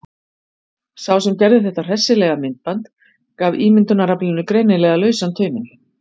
Sá sem gerði þetta hressilega myndband gaf ímyndunaraflinu greinilega lausan tauminn.